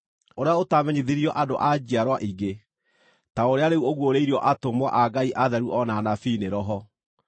ũrĩa ũtaamenyithirio andũ a njiarwa ingĩ, ta ũrĩa rĩu ũguũrĩirio atũmwo a Ngai atheru o na anabii nĩ Roho.